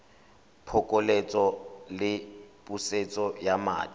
phokoletso le pusetso ya madi